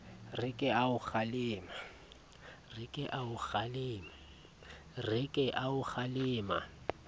re ke a o kgalema